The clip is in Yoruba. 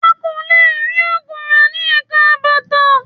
A kò lè rí oògùn rà ní Ẹ̀ka bàtà